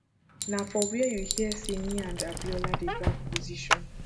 na for where you hear say me and abiola dey drag position